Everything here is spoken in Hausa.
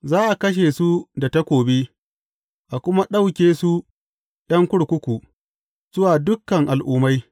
Za a kashe su da takobi, a kuma ɗauke su ’yan kurkuku, zuwa dukan al’ummai.